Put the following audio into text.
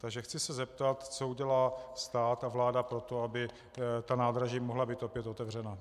Takže chci se zeptat, co udělá stát a vláda pro to, aby ta nádraží mohla být opět otevřena.